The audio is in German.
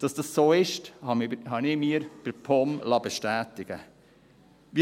Dass das so ist, habe ich mir bei der POM bestätigen lassen.